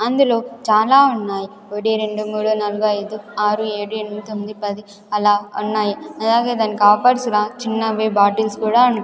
అందులో చాలా ఉన్నాయి ఒకటి రెండు మూడు నాలుగు ఐదు ఆరు ఏడు ఎనిమిది తొమ్మిది పది అలా ఉన్నాయి అలాగే దానికి ఆఫర్స్గా చిన్నవి బాటిల్స్ కూడా ఉన్న --